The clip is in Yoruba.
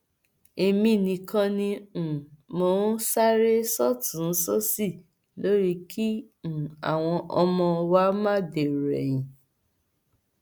èmi nìkan ni um mò ń sáré sọtùnúnsòsì lórí kí um àwọn ọmọ wa má dèrò ẹyìn